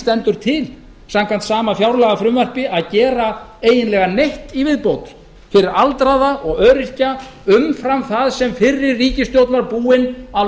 stendur til samkvæmt sama fjárlagafrumvarpi að gera eiginlega neitt í viðbót fyrir aldraða og öryrkja umfram það sem fyrri ríkisstjórn var búin að